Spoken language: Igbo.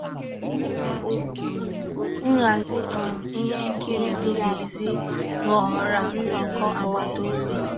Nhàzí um íhé nkírí dị́ n'èzí ghọ́ọ́rà nnọ́kọ́ àgbàtà òbí.